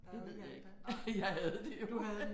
Det ved jeg ikke. Jeg havde det jo